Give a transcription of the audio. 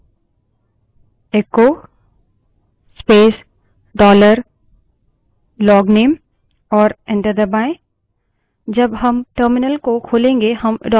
value देखने के लिए type करे echo space dollar logname और enter दबायें